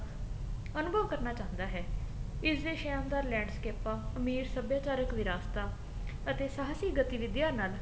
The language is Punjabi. ਅਨੁਭਵ ਕਰਨਾ ਚਾਹੰਦਾ ਹੈ ਇਸ ਦੇ ਸ਼ਹਿਰ ਦਾ ਲੈਂਡਸਕੇਪਾ ਅਮੀਰ ਸਭਿਆਚਾਰਕ ਵਿਰਾਸਤਾ ਅਤੇ ਸਾਹਸੀ ਗਤੀਵਿਧੀਆਂ ਨਾਲ